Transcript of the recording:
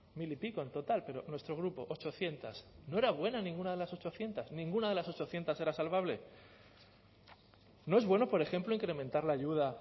mil y pico en total pero nuestro grupo ochocientos no era buena ninguna de las ochocientos ninguna de las ochocientos era salvable no es bueno por ejemplo incrementar la ayuda